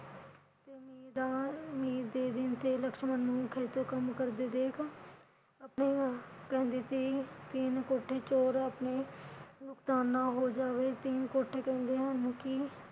ਮੀਂਹ ਦਾ ਮਹਿ ਦੇ ਦਿਨ ਤੇ ਲਕਸ਼ਮਣ ਨੂੰ ਖੇਤੋਂ ਕੰਮ ਕਰਦੇ ਦੇਖ ਕਹਿੰਦੀ ਸੀ ਕਿ ਤਿੰਨ ਕੋਠੇ ਚੋ ਆਪਣੇ ਨੁਕਸਾਨ ਨਾ ਹੋ ਜਾਵੇ । ਤਿੰਨ ਕੋਠੇ ਚੋਂਦੇ ਹਨ ਕਿ ਮੀਹ ਦੇ